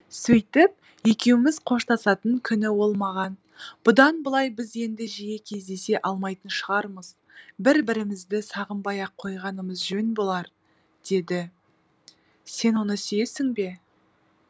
сөйтіп екеуміз қоштасатын күні ол маған бұдан былай біз енді жиі кездесе алмайтын шығармыз бір бірімізді сағынбай ақ қойғанымыз жөн болар деді сен оны сүйесің бе